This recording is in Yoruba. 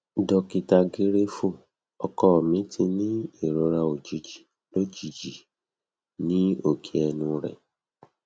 dokita griefu ọkọ mi ti ni irora ojiji lojiji ni oke ẹnu rẹ